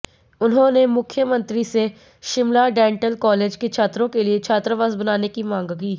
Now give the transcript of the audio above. उन्होंने मुख्यमंत्री से शिमला डेंटल कॉलेज के छात्रों के लिए छात्रावास बनाने की मांग की